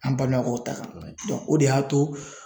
An balimakɛw ta kan o de y'a to